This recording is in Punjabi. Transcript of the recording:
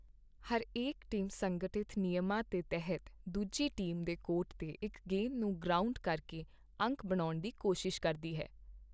ਹਰੇਕ ਟੀਮ ਸੰਗਠਿਤ ਨਿਯਮਾਂ ਦੇ ਤਹਿਤ ਦੂਜੀ ਟੀਮ ਦੇ ਕੋਰਟ 'ਤੇ ਇੱਕ ਗੇਂਦ ਨੂੰ ਗਰਾਊਂਡ ਕਰਕੇ ਅੰਕ ਬਣਾਉਣ ਦੀ ਕੋਸ਼ਿਸ਼ ਕਰਦੀ ਹੈ।